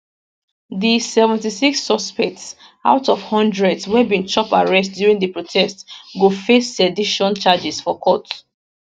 di 76 suspects out of hundreds wey bin chop arrest during di protest go face sedition charges for court